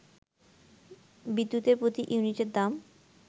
বিদ্যুতের প্রতি ইউনিটের দাম